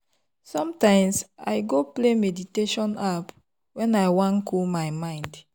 sometimes i go play meditation app when i wan cool my mind.